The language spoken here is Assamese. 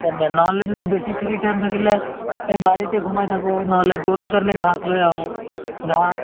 বেচি free time থাকিলে এই বাৰিতে সোমাই থাকো নহলে গৰুৰ কাৰণে ঘাচ লৈ আহো ঘাহ